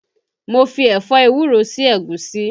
Mo fi ẹ̀fọ́ ewúro sí ẹ̀gúsí